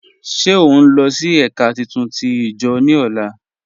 Ṣé ọ nlọ sí èká títún tí ijo ni ọlá?